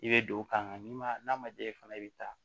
I bɛ don o kan n'i ma n'a ma diya i fana i bɛ taa